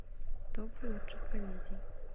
топ лучших комедий